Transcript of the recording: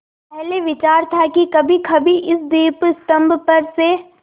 पहले विचार था कि कभीकभी इस दीपस्तंभ पर से